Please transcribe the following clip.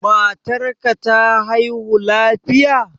Matar ka ta haihu lafiya?